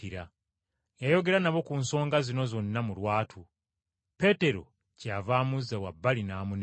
Yayogera nabo ku nsonga zino zonna mu lwatu, Peetero kyeyava amuzza wabbali n’atandika okumunenya.